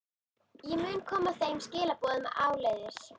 Ég mun koma þeim skilaboðum áleiðis.